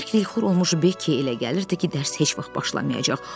Bərk dilxor olmuş Bekkiyə elə gəlirdi ki, dərs heç vaxt başlamayacaq.